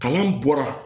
Kalan bɔra